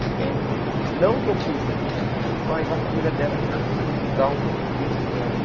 Então, não que eu fugi, mas a família dela resolveu dar um fim no negócio.